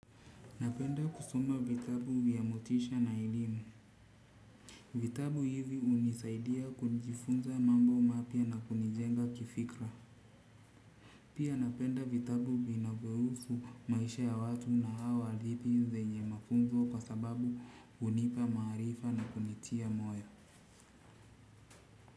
Napenda kusoma vitabu vya motisha na elimu. Vitabu hivi hunisaidia kujifunza mambo mapya na kunijenga kifikra. Pia napenda vitabu vinavyohusu maisha ya watu nahau hadithi zenye mafunzo kwa sababu hunipa maarifa na kunitia moyo.